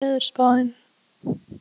Olgeir, hvernig er veðurspáin?